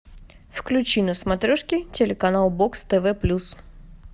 включи на смотрешке телеканал бокс тв плюс